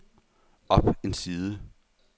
op en side